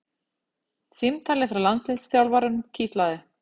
Símtalið frá landsliðsþjálfaranum kitlaði